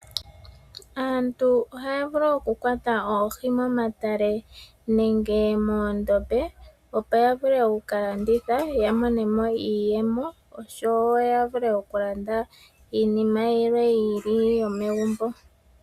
Aantu ohaya vulu okukwata oohi momatale nenge moondombe, opo ya vule oku ka landitha ya mone mo iiyemo, osho wo ya vule okulanda iinima yilwe yi ili yomegumbo.